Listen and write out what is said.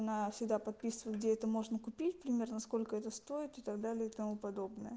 она всегда подписывает где это можно купить примерно сколько это стоит и так далее и тому подобное